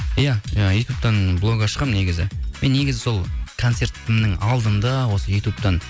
иә ы ютубтан блок ашқанмын негізі мен негізі сол концертімнің алдында осы ютубтан